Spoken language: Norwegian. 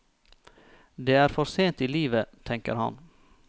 Det er for sent i livet, tenker han.